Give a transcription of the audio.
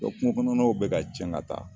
kungo kɔnɔw bɛ ka cɛn ga taa